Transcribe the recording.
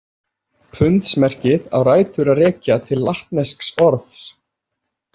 Pundsmerkið á rætur að rekja til latnesks orðs.